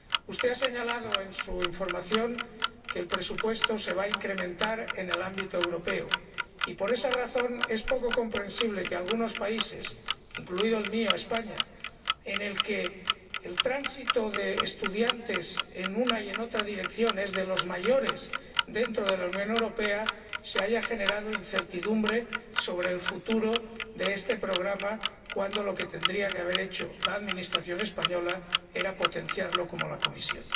Usted ha señalado en su intervención que el presupuesto se va a incrementar en el ámbito europeo y, por esa razón, es poco comprensible que en algunos países, como el mío, España, en el que el tránsito de estudiantes en una y otra dirección es de los mayores dentro de la Unión Europea, se haya generado incertidumbre sobre el futuro de este programa, cuando lo que tendría que haber hecho la Administración española era potenciarlo como la Comisión.